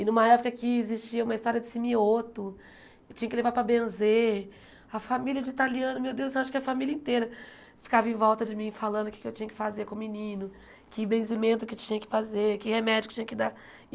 E numa época que existia uma história de simioto, tinha que levar para benzer, a família de italiano, meu Deus, acho que a família inteira ficava em volta de mim, falando o que eu tinha que fazer com o menino, que benzimento que tinha que fazer, que remédio que tinha que dar.